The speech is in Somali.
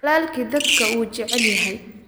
Walaalkii dadka wuu jecel yahay